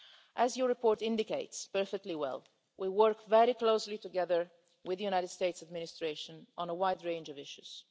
As your report indicates perfectly well, Mr Brok, we work very closely together with the US administration on a wide range of issues.